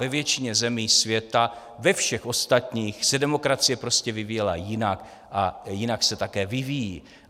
Ve většině zemí světa, ve všech ostatních, se demokracie prostě vyvíjela jinak a jinak se také vyvíjí.